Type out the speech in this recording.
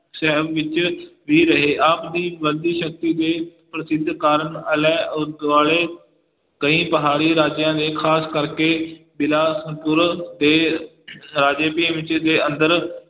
ਸ਼ਹਿਰ ਵਿੱਚ ਵੀ ਰਹੇ ਆਪ ਦੀ ਬੰਦੀ ਸ਼ਕਤੀ ਦੇ ਪ੍ਰਸਿੱਧ ਕਾਰਕ ਆਲੇ ਅਹ ਦੁਆਲੇ ਕਈ ਪਹਾੜੀ ਰਾਜਿਆਂ ਦੇ ਖ਼ਾਸ ਕਰਕੇ ਬਿਲਾਸਪੁਰ ਦੇ ਰਾਜੇ ਤੇ ਦੇ ਅੰਦਰ